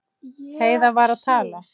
Heiða var að tala.